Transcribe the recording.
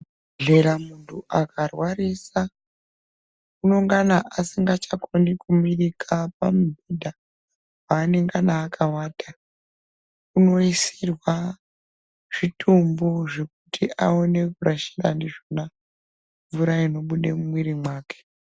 Muzvibhedhlera muntu akarwarisa, unongana asingachakoni kumirika pamubhedha paanengana akawata. Unoisirwa zvitombo zvekuti aone kurashira ndizvona mvura inobude mumwiiri mwake.